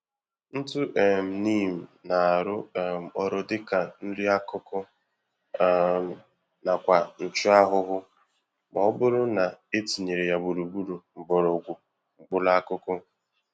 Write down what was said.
Ntụ um Neem na-arụ um ọrụ dịka nri-akụkụ um nakwa nchụ-ahụhụ m'ọbụrụ na etinyere ya gburugburu mgbọrọgwụ mkpụrụ akụkụ